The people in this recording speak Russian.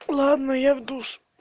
ладно я в душ